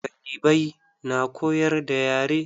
Karibai na koyar da yare.